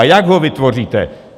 A jak ho vytvoříte?